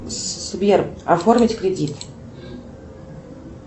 сбер оформить кредит